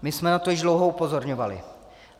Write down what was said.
My jsme na to již dlouho upozorňovali.